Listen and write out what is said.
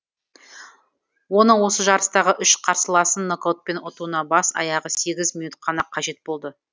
оның осы жарыстағы үш қарсыласын нокаутпен ұтуына бас аяғы сегіз минут қана қажет болды